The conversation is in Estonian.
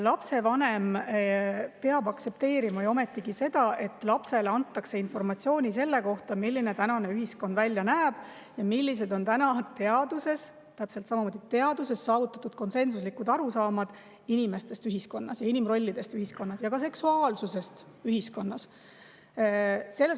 Lapsevanem peab ju ometigi aktsepteerima seda, et lapsele antakse informatsiooni selle kohta, milline tänane ühiskond välja näeb ja millised on teaduses – täpselt samamoodi, teaduses – saavutatud konsensuslikud arusaamad inimestest ühiskonnas, inimrollidest ühiskonnas ja ka seksuaalsusest ühiskonnas.